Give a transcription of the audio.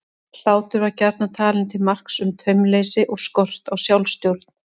Hlátur var gjarnan talinn til marks um taumleysi og skort á sjálfstjórn.